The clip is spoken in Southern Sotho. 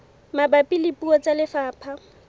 mabapi le puo tsa lefapha